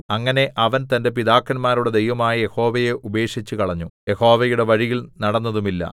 അങ്ങനെ അവൻ തന്റെ പിതാക്കന്മാരുടെ ദൈവമായ യഹോവയെ ഉപേക്ഷിച്ചുകളഞ്ഞു യഹോവയുടെ വഴിയിൽ നടന്നതുമില്ല